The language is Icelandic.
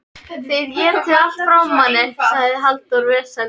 Þið étið allt frá manni, sagði Halldór vesældarlega.